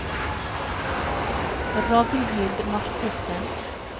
Ragnhild Markussen